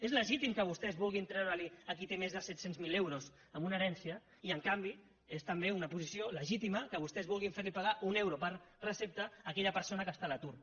és legítim que vostès vulguin treure ho a qui té més de set cents miler euros amb una herència i en canvi és també una posició legítima que vostès vulguin fer li pagar un euro per recepta a aquella persona que està a l’atur